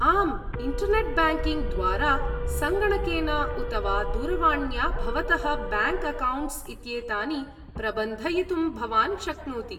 आम्, internet banking द्वारा, सङ्गणकेन उत वा दूरवाण्या भवतः ब्याङ्क् अकौण्ट्स् इत्येतानि प्रबन्धयितुं भवान् शक्नोति।